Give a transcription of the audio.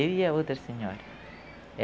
Eu e a outra senhora.